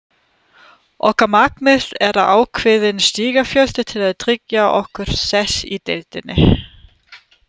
Okkar markmið er ákveðinn stigafjöldi til að tryggja okkar sess í deildinni.